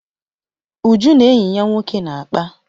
Uju na enyi ya nwoke na-akpa.